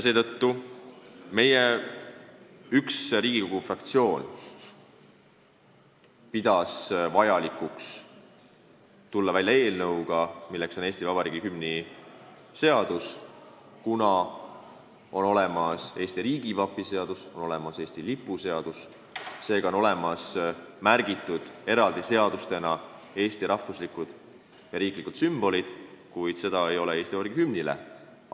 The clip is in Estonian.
Üks Riigikogu fraktsioon pidas vajalikuks tulla välja eelnõuga, Eesti Vabariigi hümni seaduse eelnõuga, kuna on olemas riigivapi seadus ja on olemas Eesti lipu seadus, seega on need Eesti rahvuslikud ja riiklikud sümbolid eraldi seadustes ära märgitud, kuid seda õigust ei ole antud Eesti Vabariigi hümnile.